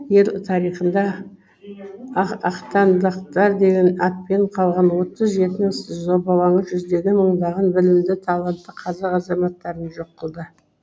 ел тарихында ақтаңдақтар деген атпен қалған отыз жетінің зобалаңы жүздеген мыңдаған білімді талантты қазақ азаматтарын жоқ қылды